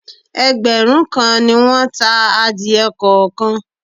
Ẹgbẹ̀rún kan ni won ta adìẹ kọ̀ọ̀kan.